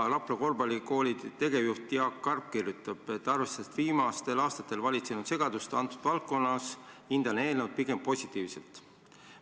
Rapla Korvpallikooli tegevjuht Jaak Karp kirjutab, et arvestades viimastel aastatel valitsenud segadust selles valdkonnas, ta hindab eelnõu pigem positiivselt.